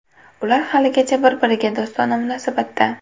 Ular haligacha bir-biriga do‘stona munosabatda.